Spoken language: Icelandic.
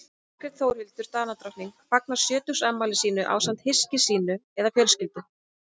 margrét þórhildur danadrottning fagnar sjötugsafmæli sínu ásamt hyski sínu eða fjölskyldu